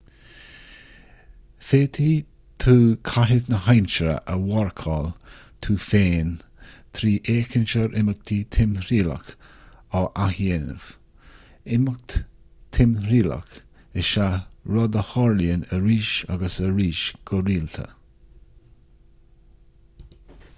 féadfaidh tú caitheamh na haimsire a mharcáil tú féin trí fhéachaint ar imeacht timthriallach á áthdhéanamh imeacht timthriallach is ea rud a tharlaíonn arís agus arís go rialta